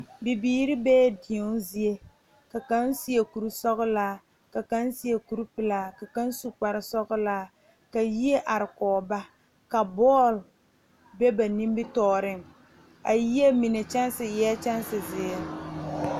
Bibiiri bee deɛne zie kaŋ seɛ kurisɔglaa ka kaŋ seɛ kuripelaa ka kaŋ su kparesɔglaa ka yie are kɔge ba ka bɔɔl be ba nimitɔɔreŋ a yie mine kyɛnsi eɛɛ kyɛnsi zeere.